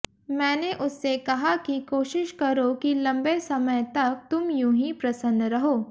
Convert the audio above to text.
मैंने उससे कहा कि कोशिश करो कि लंबे समय तक तुम यूं ही प्रसन्न रहो